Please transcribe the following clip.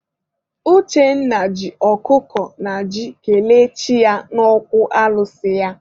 Uchenna ji ọkụkọ na ji kelee chi ya n'okwu alụsị ya.